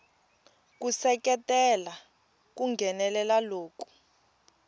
ku seketela ku nghenelela loku